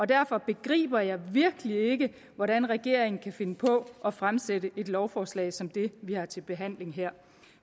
derfor begriber jeg virkelig ikke hvordan regeringen kan finde på at fremsætte et lovforslag som det vi har til behandling her